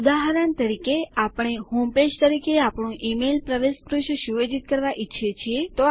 ઉદાહરણ તરીકે આપણે આપણા હોમપેજ તરીકે આપણું ઈમેઈલ પ્રવેશ પૃષ્ઠ સુયોજિત કરવા ઈચ્છીએ છીએ